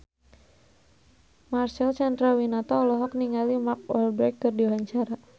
Marcel Chandrawinata olohok ningali Mark Walberg keur diwawancara